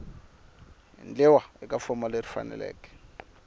endliwa eka fomo leyi faneleke